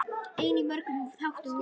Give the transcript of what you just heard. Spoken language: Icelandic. Einnig í mörgum þáttum voru: